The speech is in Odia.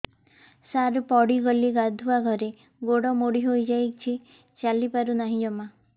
ସାର ପଡ଼ିଗଲି ଗାଧୁଆଘରେ ଗୋଡ ମୋଡି ହେଇଯାଇଛି ଚାଲିପାରୁ ନାହିଁ ଜମା